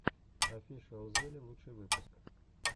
офишиалзеле лучший выпуск